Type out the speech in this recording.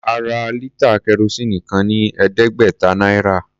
A ra lítà kẹrosíìnì kan ní ẹ̀ẹ́dẹ́gbẹ̀ta náírà.